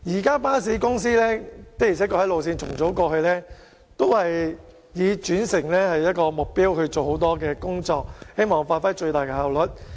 過去，巴士公司在路線重組上確實以轉乘為目標，做了很多工夫，期望發揮最大效率。